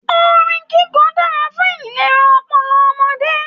Orin kikọ dára fún ìlera ọpọlọ ọmọdé.